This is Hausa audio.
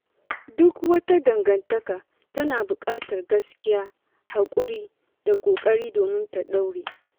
Duk wata dangantaka tana buƙatar gaskiya, haƙuri da ƙoƙari domin ta ɗore.